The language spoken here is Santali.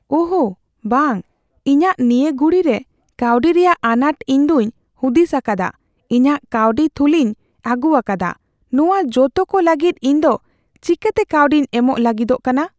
ᱳᱦ ᱵᱟᱝ ! ᱤᱧᱟᱜ ᱱᱤᱭᱟᱹ ᱜᱷᱩᱲᱤᱨᱮ ᱠᱟᱹᱣᱰᱤ ᱨᱮᱭᱟᱜ ᱟᱱᱟᱴ, ᱤᱧ ᱫᱚᱧ ᱦᱩᱫᱤᱥ ᱟᱠᱟᱫᱟ ᱤᱧᱟᱜ ᱠᱟᱹᱣᱰᱤ ᱛᱷᱩᱞᱤᱧ ᱟᱹᱜᱩᱣᱟᱠᱟᱫᱟ ᱾ ᱱᱚᱣᱟ ᱡᱚᱛᱚ ᱠᱚ ᱞᱟᱹᱜᱤᱫ ᱤᱧ ᱫᱚ ᱪᱮᱠᱟᱛᱮ ᱠᱟᱹᱣᱰᱤᱧ ᱮᱢᱚᱜ ᱞᱟᱹᱜᱤᱫᱚᱜ ᱠᱟᱱᱟ ?